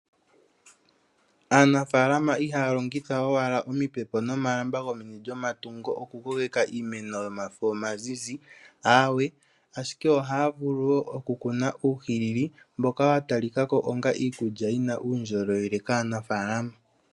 Aanafalama ihaya longitha owala omipepo nomalamba gomeni lyomatungu oku kokeka iimeno yomafo omazizi, ashike ohaya vulu okukuna uuhilili mboka watalikako onga iikulya yina uundjolowele kaanafalama.